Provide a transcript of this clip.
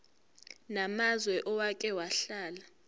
namazwe owake wahlala